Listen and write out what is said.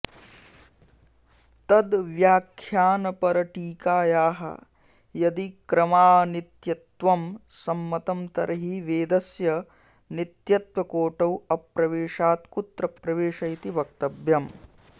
तद्वयाख्यानपरटीकायाः यदि क्रमाऽनित्यत्वं सम्मतं तर्हि वेदस्य नित्यत्वकोटौ अप्रवेशात् कुत्र प्रवेश इति वक्तव्यम्